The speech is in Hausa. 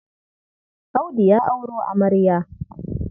Audu ya auro amarya.